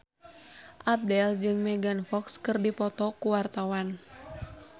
Abdel jeung Megan Fox keur dipoto ku wartawan